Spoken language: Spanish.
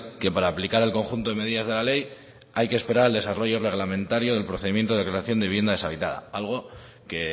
que para aplicar el conjunto de medidas de la ley hay que esperar al desarrollo reglamentario del procedimiento de creación de vivienda deshabitada algo que